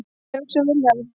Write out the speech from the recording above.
Ég hugsa um Vilhjálm.